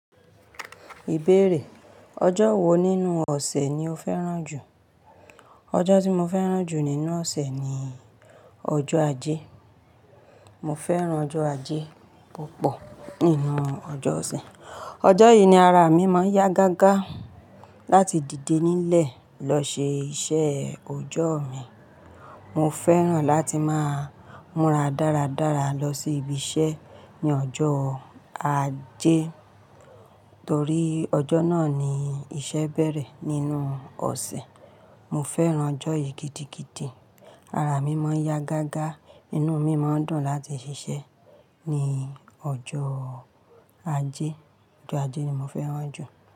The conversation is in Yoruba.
Ìbéèrè: ọjọ́ wo nínú ọ̀sẹ̀ ni o fẹ́ràn jù? Ọjọ́ tí mo fẹ́ràn jù nínú ọ̀sẹ̀ ni ọjọ́ Ajé. Mo fẹ́ràn ọjọ́ Ajé púpọ̀ nínú ọjọ́ ọ̀sẹ̀. Ọjọ́ yìí ni ara mi máa ń yá gágá láti dìde nílẹ̀ lọ ṣe iṣẹ́ ọjọ́ mi. Mo fẹ́ràn láti máa múra dáradára lọ sí ibi iṣẹ́ ní ọjọ́ Ajé, torí ọjọ́ náà ni iṣẹ́ bẹ̀rẹ̀ nínú ọ̀sẹ̀. Mo fẹ́ràn ọjọ́ yìí gidigidi. Ara mi máa ń yá gágá, inú mi máa ń dùn láti ṣiṣẹ́ ní ọjọ́ Ajé. Ọjọ́ Ajé ni mo fẹ́ràn jù.